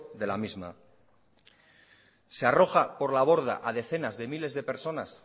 de la misma se arroja por la borda a decenas de miles de personas